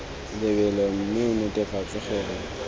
lebelo mme o netefatse gore